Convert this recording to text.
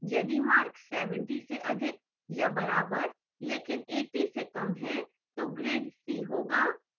यदि mark 70 से अधिक या बराबर लेकिन 80 से कम हैं तो grade c होगा